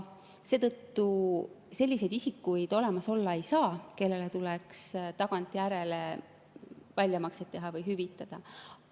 Seetõttu selliseid isikuid olemas olla ei saa, kellele tuleks tagantjärele väljamakseid teha või hüvitada.